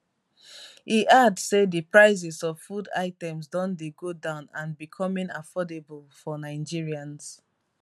e add say di prices of foods items don dey go down and becoming affordable for nigerians